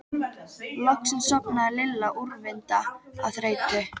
Loksins sofnaði Lilla úrvinda af þreytu.